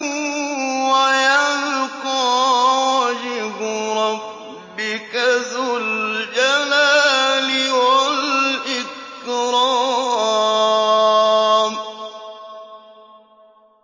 وَيَبْقَىٰ وَجْهُ رَبِّكَ ذُو الْجَلَالِ وَالْإِكْرَامِ